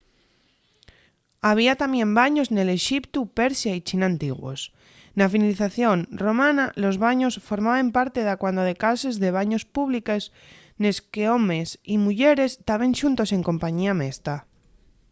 había tamién baños nel exiptu persia y china antiguos. na civilización romana los baños formaben parte dacuando de cases de baños públiques nes qu’homes y muyeres taben xuntos en compañía mesta